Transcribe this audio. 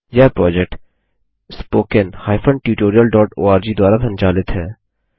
यह project httpspoken tutorialorg द्वारा संचालित है